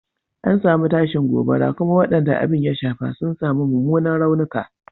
An samu tashin gobara kuma wadanda abin ya shafa sun samu mumunan raunuka.